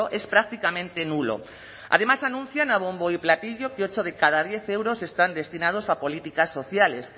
es prácticamente nulo además anuncian a bombo y platillo que ocho de cada diez euros están destinados a políticas sociales